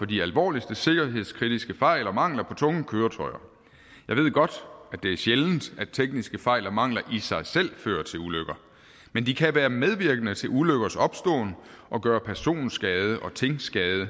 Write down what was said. de alvorligste sikkerhedskritiske fejl og mangler på tunge køretøjer jeg ved godt at det er sjældent at tekniske fejl og mangler i sig selv fører til ulykker men de kan være medvirkende til ulykkers opståen og gøre personskade og tingskade